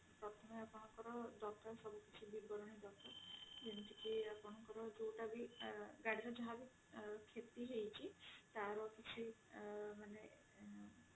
ପ୍ରଥମେ ଆପଣଙ୍କର ଦରକାର ଆପଣଙ୍କର ବିବରଣୀ ଦରକାର ଯେମିତି କି ଆପଣଙ୍କର ଯାହାବି ଗାଡି ର ଯାହାବି କ୍ଷତି ହେଇଛି ତାର କିଛି ମାନେ